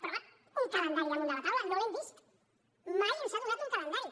però home un calendari damunt de la taula no l’hem vist mai ens ha donat un calendari